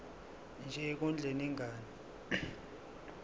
nje ekondleni ingane